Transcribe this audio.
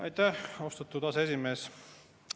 Aitäh, austatud aseesimees!